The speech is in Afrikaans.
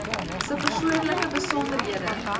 se persoonlike besonderhede